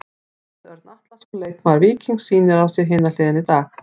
Davíð Örn Atlason, leikmaður Víkings sýnir á sér hina hliðina í dag.